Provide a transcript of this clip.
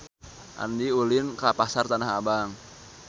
Andika ulin ka Pasar Tanah Abang